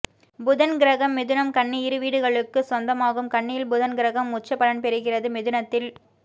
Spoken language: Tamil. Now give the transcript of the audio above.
புதன் கிரகம் மிதுனம் கன்னி இரு வீடுகளுக்கு சொந்தமாகும் கன்னியில் புதன் கிரகம் உச்ச பலம் பெறுகிறது மிதுனத்தில்